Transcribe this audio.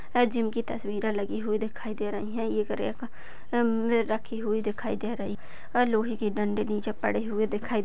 Gym तस्वीरे लगी हुई दिखाई दे रही है। एक रखी हुई दिखाई दे रही है। लोहेके डंडे नीचे पड़े हुए दिखाई दे रहे है।